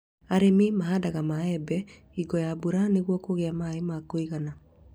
Arĩmi mahandaga mĩembe hingo ya mbura nĩguo kũgĩa maĩ ya kũigana